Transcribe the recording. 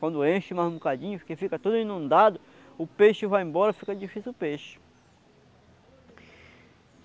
Quando enche mais um bocadinho, fica tudo inundado, o peixe vai embora, fica difícil o peixe.